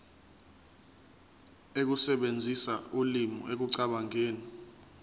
ukusebenzisa ulimi ekucabangeni